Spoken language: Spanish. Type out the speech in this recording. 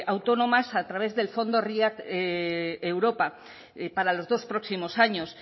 autónomas a través del fondo riad europa para los dos próximos años